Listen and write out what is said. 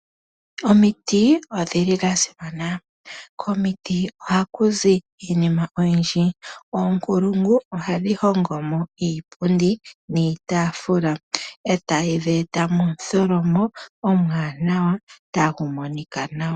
Omiti odhili dhasimana komiti ohakuzi iinima oyindji. Oonkulungu ohadhi hongomo iipundi niitafula etaye dheta eta momutholomo omwaanawa tagu monika nawa.